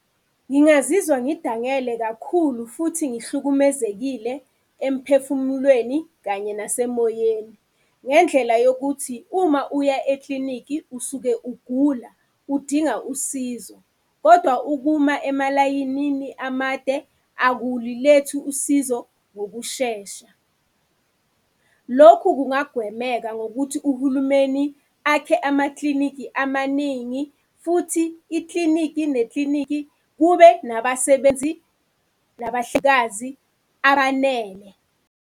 Ngingazizwa ngidangele kakhulu, futhi ngihlukumezekile emphefumulweni kanye nasemoyeni. Ngendlela yokuthi uma uya eklinikhi, usuke ugula udinga usizo. Kodwa ukuma emalayinini amade, akulilethi usizo ngokushesha. Lokhu kungagwemeka ngokuthi uhulumeni akhe amaklinikhi amaningi futhi iklinikhi neklinikhi kube nabasebenzi nabahlengikazi abanele.